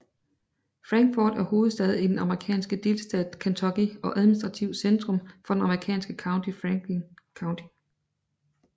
Frankfort er hovedstad i den amerikanske delstat Kentucky og administrativt centrum for det amerikanske county Franklin County